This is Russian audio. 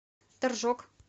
торжок